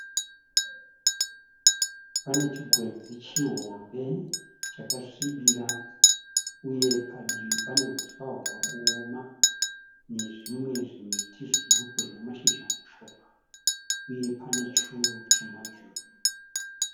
Pane chigwenzi chihombe chakasvibira uye padivi pane huswa hwava kuoma nezvimwe zvimiti zviduku zvine mashizha mashoma, uye pane churu chamajuru.